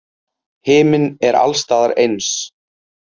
Himinn er alls staðar eins.